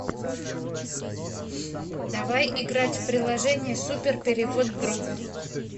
давай играть в приложение супер перевод другу